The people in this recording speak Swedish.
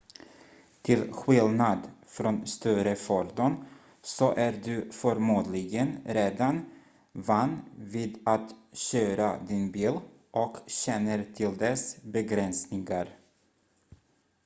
till skillnad från större fordon så är du förmodligen redan van vid att köra din bil och känner till dess begränsningar